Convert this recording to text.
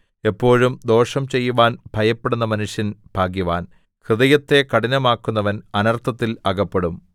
എപ്പോഴും ദോഷം ചെയ്യുവാന്‍ ഭയപ്പെടുന്ന മനുഷ്യൻ ഭാഗ്യവാൻ ഹൃദയത്തെ കഠിനമാക്കുന്നവൻ അനർത്ഥത്തിൽ അകപ്പെടും